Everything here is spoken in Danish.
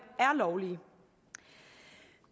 er lovlige